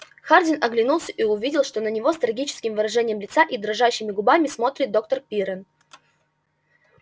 хардин оглянулся и увидел что на него с трагическим выражением лица и дрожащими губами смотрит доктор пиренн